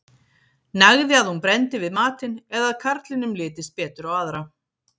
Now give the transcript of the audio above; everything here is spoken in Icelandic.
nægði að hún brenndi við matinn eða að karlinum litist betur á aðra